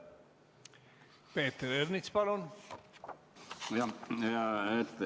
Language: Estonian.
Peeter Ernits, palun!